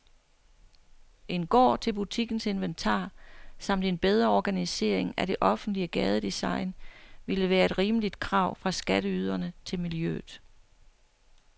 En gård til butikkens inventar samt en bedre organisering af det offentlige gadedesign ville være et rimeligt krav fra skatteyderne til miljøet.